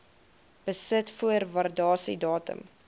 besit voor waardasiedatum